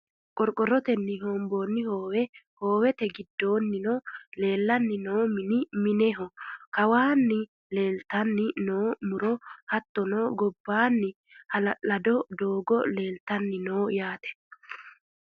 qorqorotenni hoomboonni hoowe hoowete giddoonnino leelanni noo mini minehono kawaanni leeltanni noo muro hattono gobbaanni hala'lado doogo leeltanni no yaate.